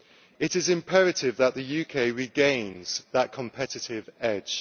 It is imperative that the UK regain that competitive edge.